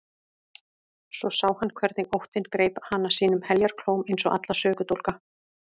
Svo sá hann hvernig óttinn greip hana sínum heljarklóm eins og alla sökudólga.